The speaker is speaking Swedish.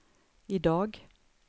idag